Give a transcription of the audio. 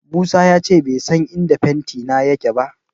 Musa ya ce bai san inda fentina yake ba.